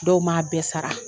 Dɔw m'a bɛɛ sara